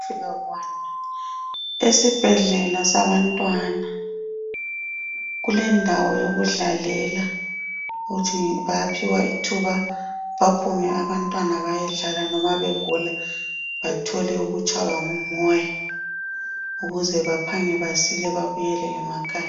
Esibhedlela sabantwana kule ndawo sokudlalela, ukuthi bayapiwa ithuba, baphume abantwana bayedlala noma begula bathole ukutshaiwa ngumoya. Ukuze baphange basila babuyele ngemakhaya.